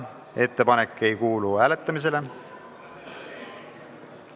Ettepanek ei kuulu hääletamisele.